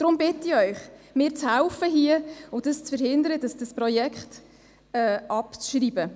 Darum bitte ich Sie, hier mitzuhelfen und zu verhindern, dieses Projekt abzuschreiben.